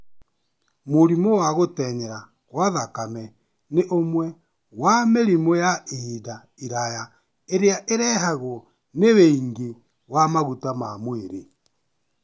Mũrimũ wa gũtenyera kwa thakame nĩ ũmwe wa mĩrimũ ya ihinda iraya ĩrĩa ĩrehagwo nĩ wĩingĩ wa maguta ma mwĩrĩ.